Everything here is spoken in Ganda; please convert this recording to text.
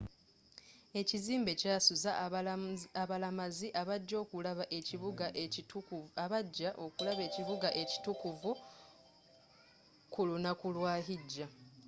ekizimbe kyasuza abalamazi abajja okulaba ekibuga ekitukuvuku lunaku lwa hijja